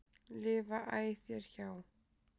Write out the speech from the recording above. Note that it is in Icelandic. lifa æ þér hjá.